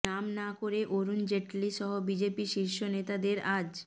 নাম না করে অরুণ জেটলি সহ বিজেপি শীর্ষ নেতাদের আজ